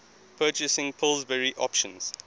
purchasing pillsbury options